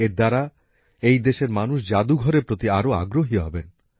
এর মাধ্যমে এই দেশের মানুষ জাদুঘরের প্রতি আরও আগ্রহী হবেন